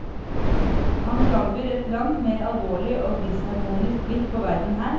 Han frambyr et langt mer alvorlig og disharmonisk blikk på verden her.